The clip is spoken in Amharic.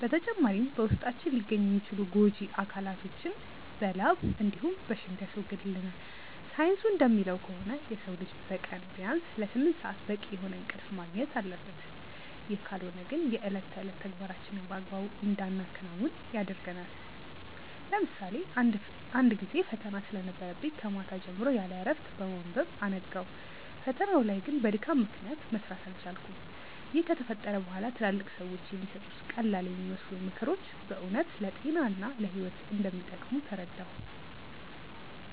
በተጨማሪም በውስጣችን ሊገኙ የሚችሉ ጎጂ አካላቶችን በላብ እንዲሁም በሽንት ያስወግድልናል። ሳይንሱ እንደሚለው ከሆነ የሰው ልጅ በቀን ቢያንስ ለስምንት ሰአት በቂ የሆነ እንቅልፍ ማግኘት አለበት፤ ይህ ካልሆነ ግን የእለት ተዕለት ተግባራችንን በአግባቡ እንዳናከናውን ያደርገናል። ለምሳሌ አንድ ጊዜ ፈተና ስለነበረብኝ ከማታ ጀምሮ ያለእረፍት በማንበብ አነጋው። ፈተናው ላይ ግን በድካም ምክንያት መስራት አልቻልኩም። ይህ ከተፈጠረ በኋላ ትላልቅ ሰዎች የሚሰጡት ቀላልየሚመስሉ ምክሮች በእውነት ለጤና እና ለህይወት እንደሚጠቅሙ ተረዳሁ።